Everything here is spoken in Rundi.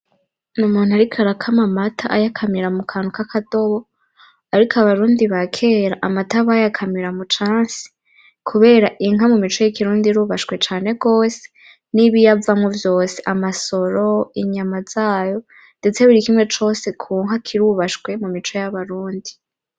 N'umuntu ariko arakama amata ayakamira mu kantu k'akadobo ariko abarundi bakera amata bayakamira mu cansi kubera inka mu mico y'ikirundi irubashwe cane gose n'ibiyivamwo vyose amasoro inyama zayo ndetse buri kimwe cose ku nka kirubashwe mu mico y'abarundi.